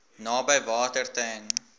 naby water ten